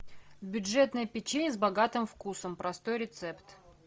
бюджетное печенье с богатым вкусом простой рецепт